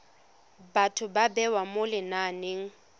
batho ba bewa mo lenaneng